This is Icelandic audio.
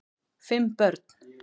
Fimm börn